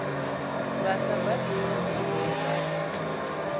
vha sa badelwiho vha no